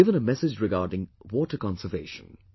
He has given a message regarding water conservation